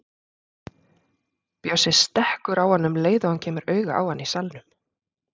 Bjössi stekkur á hann um leið og hann kemur auga á hann í salnum.